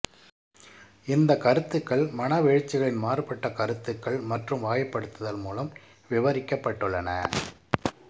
இந்த கருத்துக்கள் மனவெழுச்சிகளின் மாறுபட்ட கருத்துக்கள் மற்றும் வகைப்படுத்தல் மூலம் விவரிக்கப்பட்டுள்ளன